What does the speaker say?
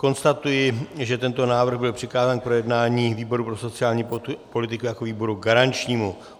Konstatuji, že tento návrh byl přikázán k projednání výboru pro sociální politiku jako výboru garančnímu.